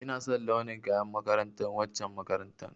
Ina son launin kayan makarantar waccen makarantar